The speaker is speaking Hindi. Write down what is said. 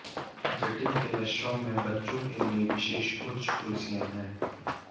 जटिल के रेस्तरां में बच्चों के लिए विशेष उच्च कुर्सियों है